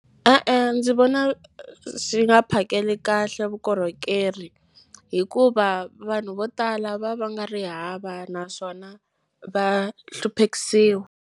E-e, ndzi vona swi nga phakeli kahle vukorhokeri hikuva vanhu vo tala va va nga ri hava naswona va hluphekisiwa.